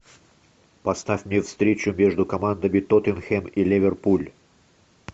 поставь мне встречу между командами тоттенхем и ливерпуль